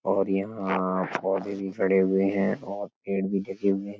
और यहाँ पोधे भी खड़े हुए है और --